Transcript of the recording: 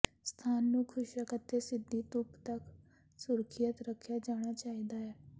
ਸਥਾਨ ਨੂੰ ਖੁਸ਼ਕ ਅਤੇ ਸਿੱਧੀ ਧੁੱਪ ਤੱਕ ਸੁਰੱਖਿਅਤ ਰੱਖਿਆ ਜਾਣਾ ਚਾਹੀਦਾ ਹੈ